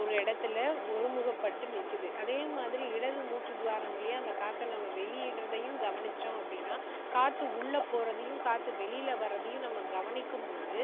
ஒரு இடத்துல ஒரு முகப்பட்டு நிக்குது அதே மாதிரி இடது மூக்கு துவாரம் வழியா அந்த காற்ற நம்ம வெளியிடுறதையும் கவனிச்சோம் அப்படின்னா காற்று உள்ள போறதையும் காற்று வெளிய வர்றதையும் நம்ம கவனிக்கும்போது